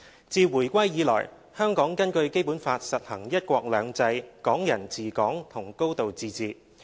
自回歸以來，香港根據《基本法》實行"一國兩制"、"港人治港"和"高度自治"。